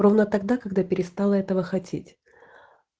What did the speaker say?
ровно тогда когда перестала этого хотеть